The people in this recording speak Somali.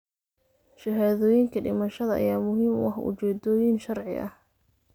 Shahaadooyinka dhimashada ayaa muhiim u ah ujeeddooyin sharci ah.